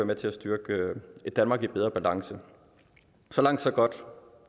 med til at styrke et danmark i bedre balance så langt så godt